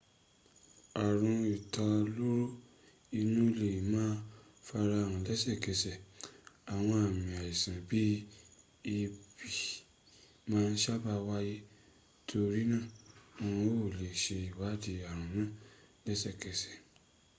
aarun italoro inu le ma farahan lesekese awon ami aisan bii eebi ma saba waye torina won o le se iwadii aarun naa lesekese